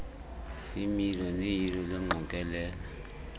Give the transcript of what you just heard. ziimilo noyilo lwengqokelela